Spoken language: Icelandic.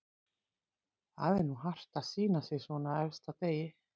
Það er nú hart að sýna sig svona á efsta degi.